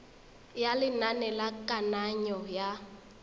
ya lenane la kananyo ya